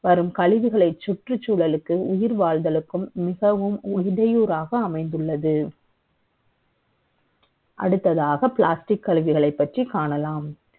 வரும் கழிவுகளை சுற்றுச்சூழலுக்கு உயிர் வாழ்வதற்கு மிகவும் இடையூறாக அமைந்துள்ளது அடுத்ததாக Plastic கழிவுகளை பற்றி காணலாம்